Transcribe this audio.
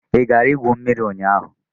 Ị gara igwu mmiri ụnyahụ?